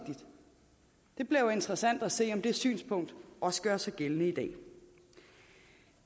interessant at se om det synspunkt også gør sig gældende i dag